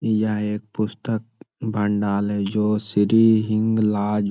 यहाँ एक पुस्तक भंडाल है जो श्री हिंगलाज --